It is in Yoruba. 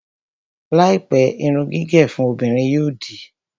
Láìpẹ́, irun gígẹ̀ fún obìnrin yóò di